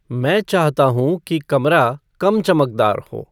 मैं चाहता हूँ कि कमरा कम चमकदार हो